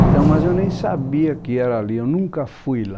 Então, mas eu nem sabia que era ali, eu nunca fui lá.